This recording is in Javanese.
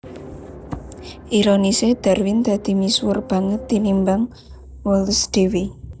Ironisé Darwin dadi misuwur banget tinimbang Wallace dhéwé